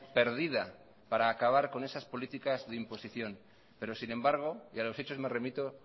perdida para acabar con esas políticas de imposición pero sin embargo y a los hechos me remito